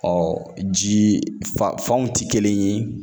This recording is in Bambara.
ji faw ti kelen ye.